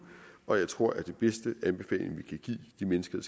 og jeg tror at den bedste anbefaling vi kan give de mennesker